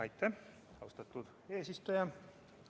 Aitäh, austatud eesistuja!